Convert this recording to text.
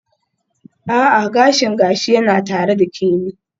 A'a, gashin gashi yana tare da Kemi.